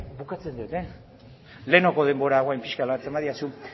bukatzen dut lehenengoko denbora orain pixkat badidazu